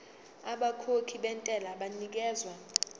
abakhokhi bentela banikezwa